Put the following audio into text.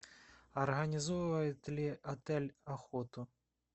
организовывает ли отель охоту